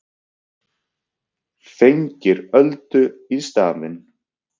Fengir Öldu í staðinn.